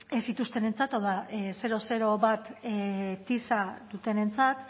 ez zituztenentzat hau da bat tisa dutenentzat